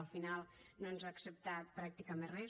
al final no ens ha acceptat pràcticament res